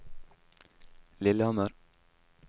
Lillehammer